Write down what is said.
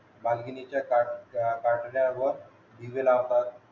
दागिनेच ताट चा दिवे लावतात